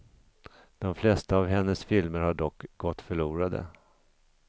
De flesta av hennes filmer har dock gått förlorade.